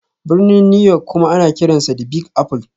Birnin New York kuma ana kiransa 'The Big Apple'.